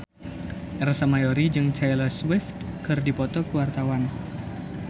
Ersa Mayori jeung Taylor Swift keur dipoto ku wartawan